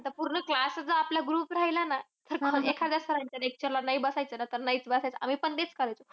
आता जर पूर्ण class च आपला group राहिला ना, तर एखाद्या sir च्या lecture ला नाही बसायचं ना. तर नाहीच बसायचं. आम्ही पण तेच करायचो.